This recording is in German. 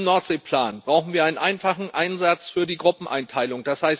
Im Nordseeplan brauchen wir einen einfachen Einsatz für die Gruppeneinteilung.